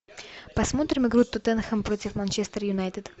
посмотрим игру тоттенхэм против манчестер юнайтед